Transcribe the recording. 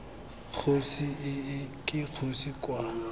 kgosi ii ke kgosi kwa